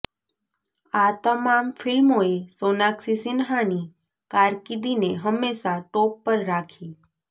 આ તમામ ફિલ્મોએ સોનાક્ષી સિન્હાની કારકિર્દીને હંમેશા ટોપ પર રાખી